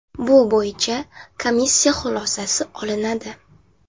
Bu bo‘yicha komissiya xulosasi olinadi.